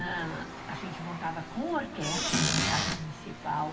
A gente montava com orquestra no Teatro Municipal.